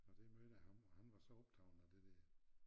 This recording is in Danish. Og der mødte jeg ham og han var så optaget af det der